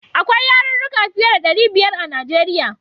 Akwai yarurruka fiye da ɗari biyar a Nijeriya.